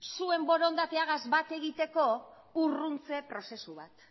zuen borondatearekin bat egiteko urruntze prozesu bat